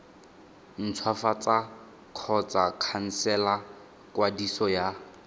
ntshwafatsa kgotsa khansela kwadiso ya